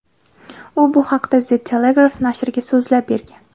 U bu haqida The Telegraph nashriga so‘zlab bergan .